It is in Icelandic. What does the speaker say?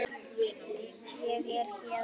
Ég er héðan